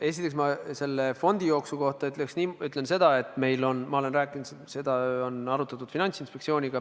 Esiteks, ma selle fondijooksu kohta ütlen seda, et ma olen seda arutatud Finantsinspektsiooniga.